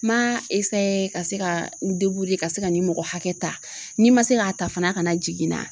Ma ka se ka n ka se ka nin mɔgɔ hakɛ ta, ni ma se k'a ta fana a' ka na jigi na.